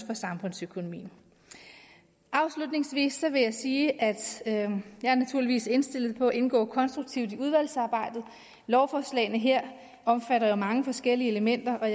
for samfundsøkonomien afslutningsvis vil jeg sige at jeg naturligvis er indstillet på at indgå konstruktivt i udvalgsarbejdet lovforslagene her omfatter jo mange forskellige elementer og